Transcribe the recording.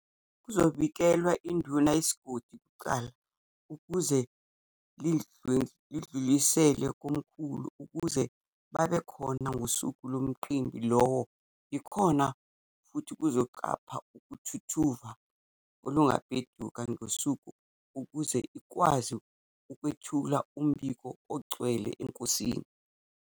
Kuzobikelwa induna yesigodi kuqala ukuze ilwedlulisele komkhulu ukuze babe khona ngosuku lomcimbi lowo. Ikhona futhi ukuzoqapha uthuthuva olungabheduka ngosuku ukuze ikwazi ukwethula umbiko ogcwele enkosini.